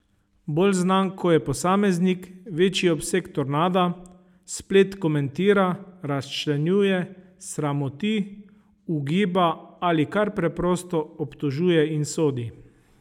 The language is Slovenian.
Bolj znan ko je posameznik, večji je obseg tornada, splet komentira, razčlenjuje, sramoti, ugiba ali kar preprosto obtožuje in sodi.